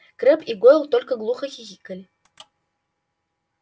крэбб и гойл только глупо хихикали